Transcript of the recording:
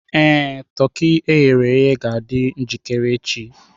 Ee, toki e ghere eghe ga-adị njikere echi.